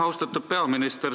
Austatud peaminister!